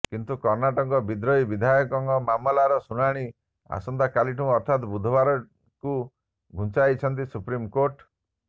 କିନ୍ତୁ କର୍ଣ୍ଣାଟକ ବିଦ୍ରୋହୀ ବିଧାୟକଙ୍କ ମାମଲାର ଶୁଣାଣି ଆସନ୍ତା କାଲିକୁ ଅର୍ଥାତ୍ ବୁଧବାରକୁ ଘୁଞ୍ଚାଇଛନ୍ତି ସୁପ୍ରିମ୍କୋର୍ଟ